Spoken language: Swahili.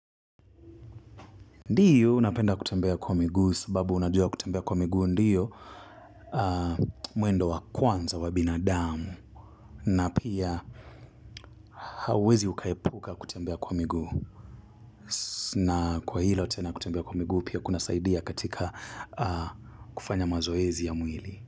Ndiyo unapenda kutembea kwa miguu sababu unajua kutembea kwa miguu ndiyo mwendo wa kwanza wa binadamu na pia hauwezi ukaepuka kutembea kwa miguu na kwa hilo tena kutembea kwa miguu pia kunasaidia katika kufanya mazoezi ya mwili.